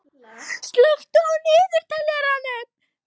Etna, slökktu á niðurteljaranum.